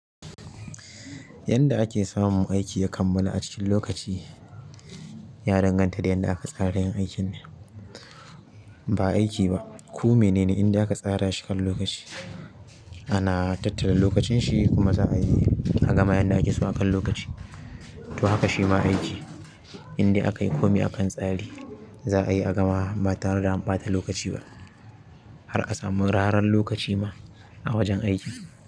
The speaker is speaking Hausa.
Yanda ake samun aiki ya kammala a cikin lokaci ya danganta da yanda aka tsara yin aikin ne, ba aiki ba. Kome ne ne indai aka tsara shi kan lokaci ana tattara lokacin shi kuma za'a yi a gama yanda ake so akan lokaci. To haka shima aiki. In dai a kayi komai akan tsare. Za a yi a gama ba tare da an pata lokaci ba. Har a samu raran lokaci ma a wurin aikin.